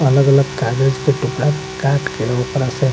अलग-अलग कागज के टुकड़ा के काट के ओकरा से --